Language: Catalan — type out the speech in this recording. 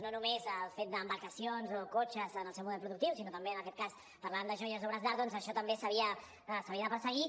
no només el fet d’embarcacions o cotxes en el seu model productiu sinó que també parlàvem de joies o obres d’art doncs això també s’havia de perseguir